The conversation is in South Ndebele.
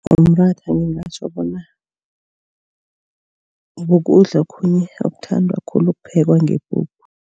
Umratha ngingatjho bona kukudla okhunye okuthandwa khulu uphekwa ngepuphu.